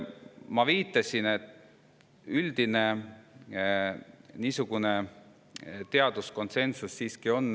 Ma viitasin sellele, et üldine teaduskonsensus on siiski olemas.